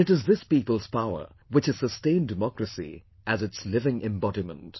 And it is this people's power which has sustained democracy as its living embodiment